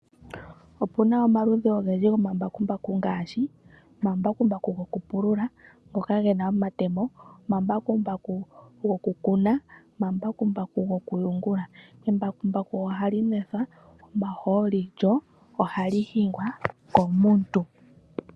Opuna omaludhi ogendji gomambakumbaku ngaashi omambakumbaku gokupulula ngoka gena omatemo, omambakumbaku gokukuna, omambakumbaku gokuyungula. Embakumbaku ohali nwethwa omahooli lyo ohali hingwa komuntu.